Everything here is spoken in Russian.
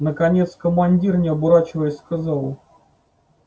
наконец командир не оборачиваясь сказал